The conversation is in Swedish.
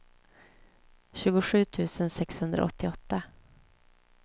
tjugosju tusen sexhundraåttioåtta